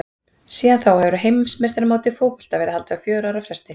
Síðan þá hefur heimsmeistaramót í fótbolta verið haldið á fjögurra ára fresti.